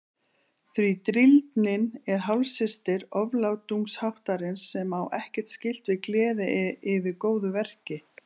Því drýldnin er hálfsystir oflátungsháttarins sem á ekkert skylt við gleði yfir góðu verki.